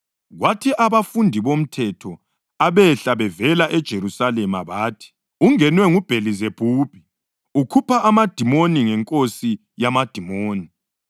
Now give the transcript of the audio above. Kwathi abafundi bomthetho abehla bevela eJerusalema bathi, “Ungenwe nguBhelizebhubhi! Ukhupha amadimoni ngenkosi yamadimoni.”